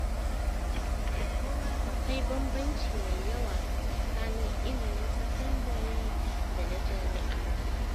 Akwai bambanci mai yawa tsakanin ilimin sakandare da na jami’a.